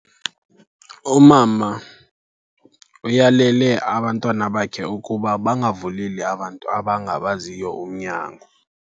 Umama uyalele abantwana bakhe ukuba bangavuleli abantu abangabaziyo umnyango.